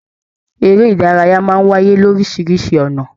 Eré ìdárayá máa n wáyé lorisirisi ọnà.